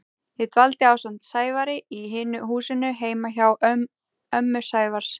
Ég dvaldi ásamt Sævari í hinu húsinu heima hjá ömmu Sævars.